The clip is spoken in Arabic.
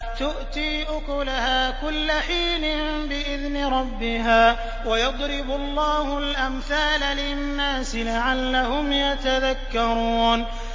تُؤْتِي أُكُلَهَا كُلَّ حِينٍ بِإِذْنِ رَبِّهَا ۗ وَيَضْرِبُ اللَّهُ الْأَمْثَالَ لِلنَّاسِ لَعَلَّهُمْ يَتَذَكَّرُونَ